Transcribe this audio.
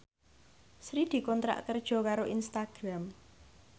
Sri dikontrak kerja karo Instagram